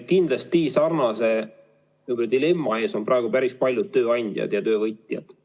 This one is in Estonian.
Kindlasti sarnase dilemma ees on praegu päris paljud tööandjad ja töövõtjad.